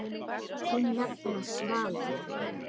Þín nafna, Svala.